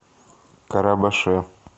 карабаше